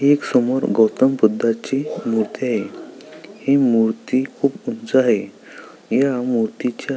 एक समोर गौतम बुधाची मूर्ती आहे ही मूर्ती खूप उंच आहे या मूर्तीच्या --